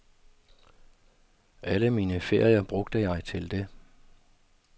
Alle mine ferier brugte jeg til det.